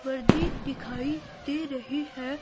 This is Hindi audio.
बर्दी दिखाई दे रही है।